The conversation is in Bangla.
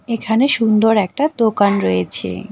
এখানে সুন্দর একটা দোকান রয়েছে।